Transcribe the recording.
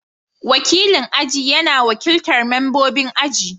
Wakilin aji yana wakiltar membobin aji.